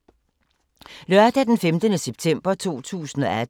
Lørdag d. 15. september 2018